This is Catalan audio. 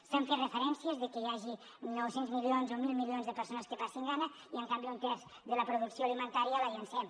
s’han fet referències de que hi hagi nou cents milions o mil milions de persones que passen gana i en canvi un terç de la producció alimentària la llencem